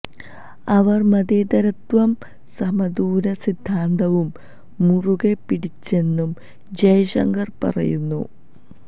അവര് മതേതരത്വവും സമദൂര സിദ്ധാന്തവും മുറുകെ പിടിച്ചെന്നു ജയശങ്കര് പറയുന്നു